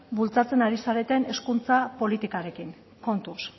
bultzatzen ari zareten hezkuntza politikarekin kontuz